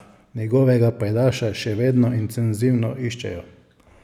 Njegovega pajdaša še vedno intenzivno iščejo.